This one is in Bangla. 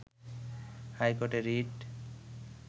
হাইকোর্টে রিট